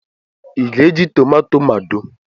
Ị ga-eji tomato mado?